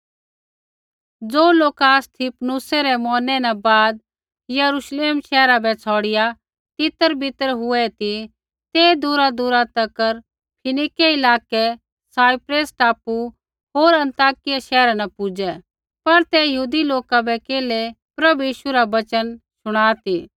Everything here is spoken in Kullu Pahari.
ज़ो लोका स्तफनुसै रै मौरनै न बाद यरूश्लेम शैहरा बै छ़ौड़िया तितरबितर हुऐ ती ते दूरादूरा तक फीनीकै इलाकै साइप्रस टापू होर अन्ताकिया शैहरा न पुजै पर ते यहूदी लोका बै केल्ही प्रभु यीशु रा वचन शुणा ती